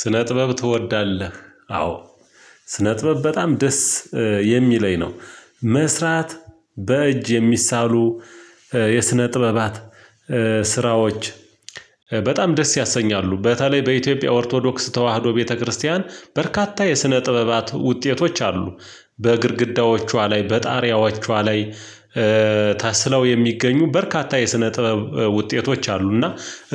ስነ ጥበብ ትወዳለህ? አዎ ስነ ጥበብ በጣም ደስ የሚለኝ ነው። መስራት በእጅ የሚሳሉ የስነ ጥበባት ስራዎች በጣም ደስ ያሰኛሉ። በተለይ በኢትዮጵያ ኦርቶዶክስ ተዋህዶ ቤተክርስቲያን በርካታ የስነ ጥበባት ውጤቶች አሉ። በግድግዳዎቿ ላይ በጣሪያዎቿ ላይ ተስለው የሚገኙ በርካታ የስነ ጥበብ ውጤቶች አሉና